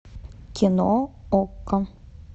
кино окко